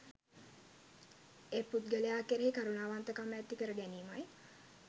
ඒ පුද්ගලයා කෙරෙහි කරුණාවන්තකම ඇති කරගැනීමයි